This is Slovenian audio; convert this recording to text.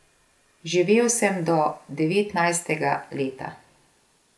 Živel sem do devetnajstega leta.